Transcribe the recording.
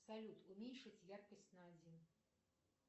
салют уменьшить яркость на один